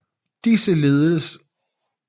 Disse lededes med held af oberst Dodds